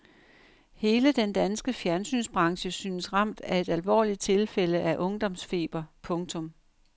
Hele den danske fjernsynsbranche synes ramt af et alvorligt tilfælde af ungdomsfeber. punktum